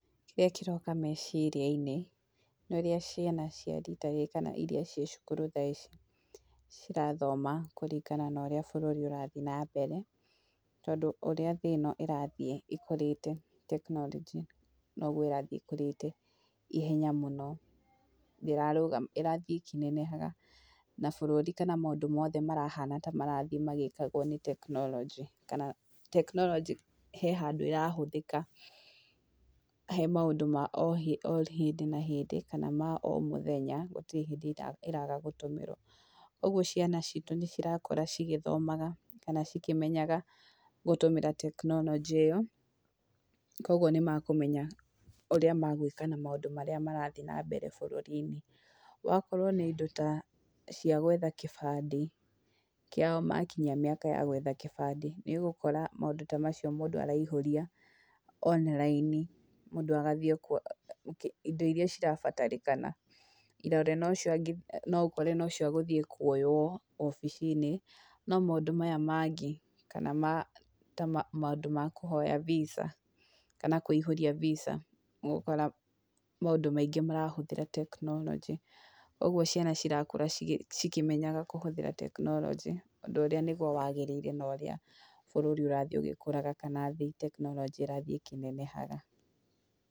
Kĩrĩa kĩroka meciria-inĩ nĩ ũria ciana cia rita rĩrĩ kana iria ciĩ cukuru thaici cirathoma kũringana na ũrĩa bũrũri ũrathiĩ na mbere, tondũ ũrĩa thĩ ĩno ĩrathiĩ ikũrĩte tekinoronjĩ no guo ĩrathĩĩ ĩkũrĩte ihenya mũno, ndĩrarũgama, ĩrathiĩ ĩkĩnenehaga na bũrũri kana maũndũ mothe marahana ta marathiĩ magĩĩkagwo nĩ tekinoronjĩ, kana tekinoronjĩ he handũ ĩrahũthĩka, he maũndũ ma o hĩndĩ na hĩndĩ, kana ma o mũthenya, gũtirĩ hĩndĩ ĩraga gũtũmĩrwo. Ũguo ciana citũ nĩ cirakũra cigĩthomaga kana cikĩmenyaga gũtũmĩra tekinoronjĩ ĩyo, kũguo nĩ mekũmenya ũrĩa megũĩka na maũndũ marĩa marathiĩ na mbere bũrũri-inĩ, wakorwo nĩ indo ta cia gwetha kĩbandĩ, kĩao makinya mĩaka ya gwetha kĩbandĩ nĩ ũgũkora maũndũ ta macio mũndũ araihũria online mũndũ agathiĩ kwa indo iria irabatarĩkana, irore no cio no ũkore ni cio agũthiĩ kuoywo wabici-inĩ, no maũndũ maya mangĩ kana ta maũndũ ma kũhoya Visa kana kũihũria Visa nĩ ũgũkora maundũ maingĩ marahũthĩra tekinoronjĩ. Ũguo ciana cirakũra cikĩmenyaga kũhũthĩra tekinoronjĩ, ũndũ ũrĩa nĩ guo wagĩrĩire na ũrĩa bũrũri ũrathiĩ ũgĩkũraga kana thĩ, tekinoronjĩ ĩrathiĩ ĩkĩnenehaga.